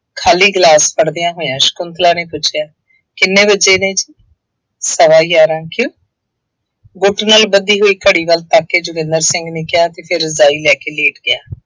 ਖਾਲੀ ਗਿਲਾਸ ਫੜ੍ਹਦਿਆਂ ਹੋਇਆਂ ਸ਼ੰਕੁਤਲਾ ਨੇ ਪੁੱਛਿਆ ਕਿੰਨੇ ਵੱਜੇ ਨੇ ਜੀ, ਸਵਾ ਗਿਆਰਾਂ, ਕਿਉਂ ਗੁੱਟ ਨਾਲ ਬੱਧੀ ਹੋਈ ਘਵੀ ਵੱਲ ਤੱਕ ਕੇ ਜੋਗਿੰਦਰ ਸਿੰਘ ਨੇ ਕਿਹਾ ਅਤੇ ਫੇਰ ਰਜ਼ਾਈ ਲੈ ਕੇ ਲੇਟ ਗਿਆ।